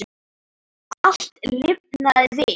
Allt lifnaði við.